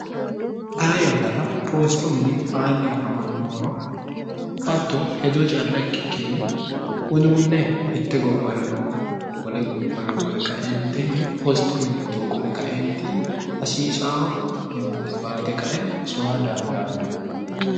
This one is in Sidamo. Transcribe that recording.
xa yannara poosto mili aanni afamannohoro hatto hedoo calla ikkikkinni uduunne mitte gobbara noo wole gobbara qole qaeentinni poosto mili widoo qole qaeenti hasiisao yemaate baate kae soya dandaanno